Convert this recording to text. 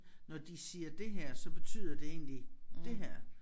Når de siger det her så betyder det egentlig det her